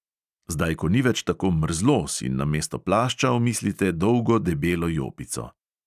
Zdaj ko ni več tako mrzlo, si namesto plašča omislite dolgo debelo jopico.